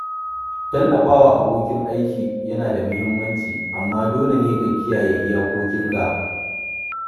Tallafa wa abokin aiki yana da muhimmanci, amma dole ne ka kiyaye iyakokinka.